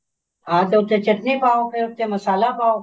ਹਾਂ ਤੇ ਉੱਤੇ ਚਟਨੀ ਪਾਓ ਤੇ ਉੱਤੇ ਮਸਾਲਾ ਪਾਓ